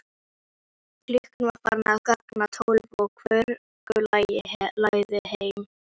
Klukkan var farin að ganga tólf og hvorugan langaði heim.